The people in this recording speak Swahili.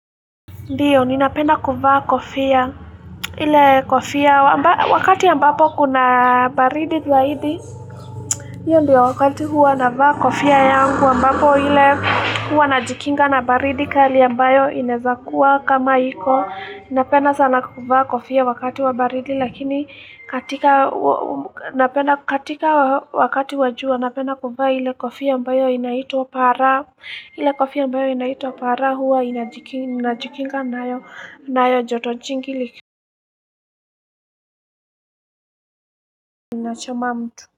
Ndiyo, ninapenda kuvaa kofia, wakati ambapo kuna baridi zaidi. Ndiyo, wakati huwa navaa kofia yangu, ambapo huwa najikinga na baridi kali ambayo inawezakuwa kama iko. Napenda sana kuvaa kofia wakati wa baridi, lakini katika wakati wa jua, napenda kuvaa ile kofia ambayo inaitwa para. Ile kofia ambayo inaitwa para huwa najikinga nayo joto jingi linachoma mtu.